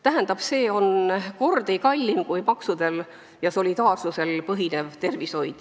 Tähendab, see on kordi kallim kui maksudel ja solidaarsusel põhinev tervishoid.